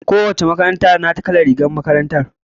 Ko wace makaranta da tata kalar rigar makaranta.